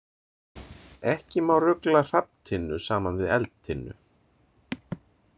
Ekki má rugla hrafntinnu saman við eldtinnu.